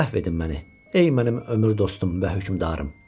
Əhv edin məni, ey mənim ömür dostum və hökmdarım.